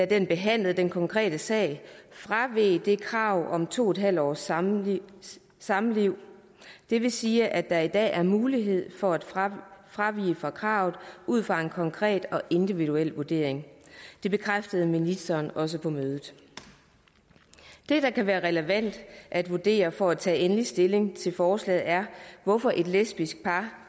den behandlede den konkrete sag fraveg det krav om to en halv års samliv samliv det vil sige at der i dag er mulighed for at fravige fravige kravet ud fra en konkret og individuel vurdering det bekræftede ministeren også på mødet det der kan være relevant at vurdere for at tage endelig stilling til forslaget er hvorfor et lesbisk par